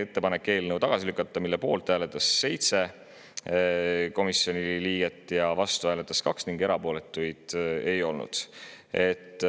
ettepanek eelnõu tagasi lükata, mille poolt hääletas 7 komisjoni liiget, vastu hääletas 2 ning erapooletuid ei olnud.